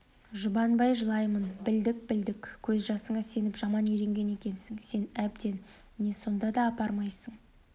жұбанбай жылаймын білдік білдік көз жасыңа сеніп жаман үйренген екенсің сен әбден не сонда да апармайсыңдар